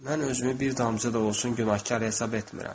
Mən özümü bir damcı da olsun günahkar hesab etmirəm.